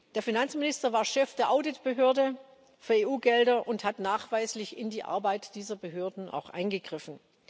Der Finanzminister war Chef der Audit Behörde für EU Gelder und hat nachweislich in die Arbeit dieser Behörden auch eingegriffen.